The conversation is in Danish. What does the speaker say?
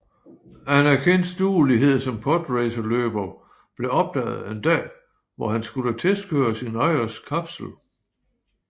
Anakins duelighed som podracerløber blev opdaget en dag hvor han skulle testkøre sin ejers kapsel